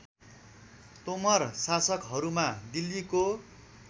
तोमर शासकहरूमा दिल्लीको